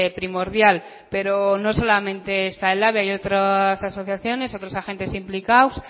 primordial pero no solamente está elhabe hay otras asociaciones otros agentes implicado